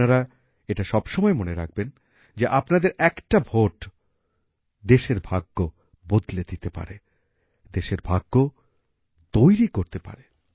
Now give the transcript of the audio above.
আপনারা এটা সব সময় মনে রাখবেন যে আপনাদের একটা ভোট দেশের ভাগ্য বদলে দিতে পারে দেশের ভাগ্য তৈরি করতে পারে